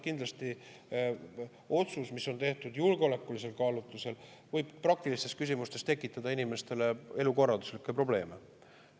Kindlasti otsus, mis on tehtud julgeolekulistel kaalutlustel, võib praktilistes küsimustes tekitada inimestele elukorralduslikke probleeme.